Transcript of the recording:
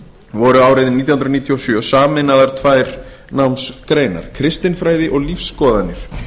voru árið nítján hundruð níutíu og sjö sameinaðar tvær námsgreinar kristinfræði og lífsskoðanir